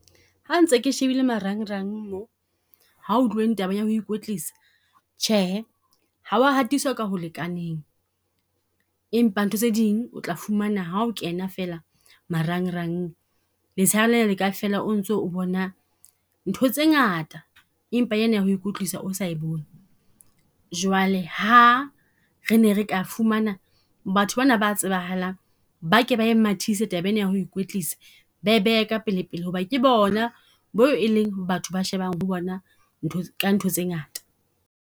Ha ntse ke shebile marangrang mo, ha ho tluweng tabeng ya ho ikwetlisa. Tjhehe, ha wa hatiswa ka ho lekaneng. Empa ntho tse ding o tla fumana ha o kena fela marangrang, letsheare lena le ka fela o ntso o bona ntho tse ngata, empa e na ya ho ikwetlisa o sa e bone. Jwale ha re ne re ka fumana batho ba na ba tsebahalang, ba ke ba e mathisa taba ena ya ho ikwetlisa. Ba ke ba e mathise taba ena ya ho ikwetlisa, ba e behe ka pele pele hoba ke bona bo e leng batho ba shebang ho bona ntho , ka ntho tse ngata.